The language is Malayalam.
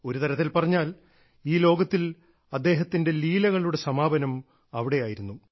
ഒരു തരത്തിൽ പറഞ്ഞാൽ ഈ ലോകത്തിൽ അദ്ദേഹത്തിന്റെ ലീലകളുടെ സമാപനം അവിടെയായിരുന്നു